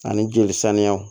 Ani jeli saniyaw